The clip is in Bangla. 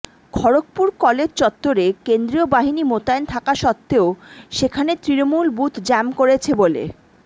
খড়্গপুর কলেজ চত্বরে কেন্দ্রীয় বাহিনী মোতায়েন থাকা সত্ত্বেও সেখানে তৃণমূল বুথ জ্যাম করেছে বলে